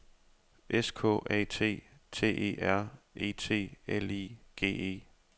S K A T T E R E T L I G E